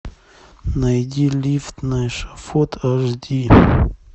найди лифт на эшафот аш ди